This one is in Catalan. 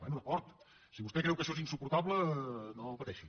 bé d’acord si vostè creu que això és insuportable no pateixi